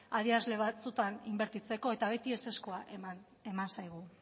adierazle batzuetan inbertitzeko eta beti ezezkoa eman zaigu